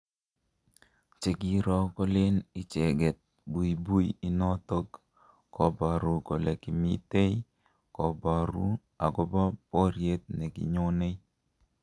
Chekiiro kolen icheket buibui inotok kubaru kole kimitei kobaru akobo boriet nikinyonei